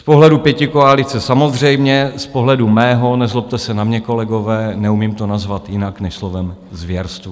Z pohledu pětikoalice samozřejmě, z pohledu mého, nezlobte se na mě, kolegové, neumím to nazvat jinak než slovem zvěrstvo.